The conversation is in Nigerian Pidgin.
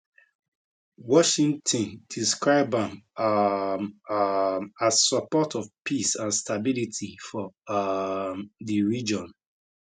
washington describe am um um as support of peace and stability for um di region